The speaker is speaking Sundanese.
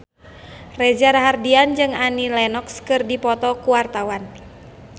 Reza Rahardian jeung Annie Lenox keur dipoto ku wartawan